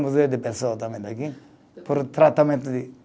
Museu de Pessoa também daqui, por tratamento de